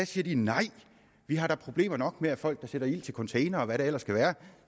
siger nej vi har da problemer nok med folk der sætter ild til containere og hvad der ellers kan være